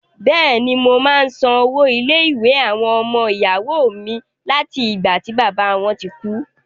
Bẹ̀ẹ̀ni, mo máa ń san owó ilé-ìwé àwọn ọmọ ìyàwó mi láti ìgbà tí bàbá wọn ti kú.